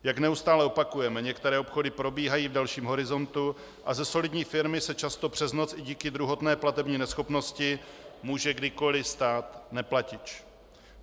Jak neustále opakujeme, některé obchody probíhají v delším horizontu a ze solidní firmy se často přes noc i díky druhotné platební neschopnosti může kdykoli stát neplatič.